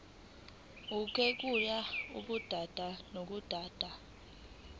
kuyehluka kudaba nodaba